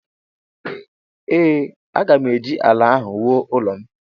Ee, aga m eji ala ahụ wuo ụlọ m